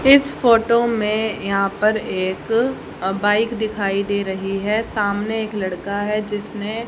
इस फोटो में यहाँ पर एक अ बाइक दिखाई दे रही है सामने एक लड़का है जिसने--